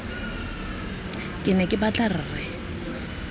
ke ne ke batla rre